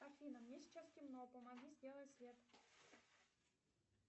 афина мне сейчас темно помоги сделать свет